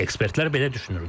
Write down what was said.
Ekspertlər belə düşünürlər.